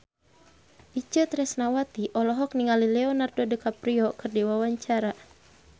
Itje Tresnawati olohok ningali Leonardo DiCaprio keur diwawancara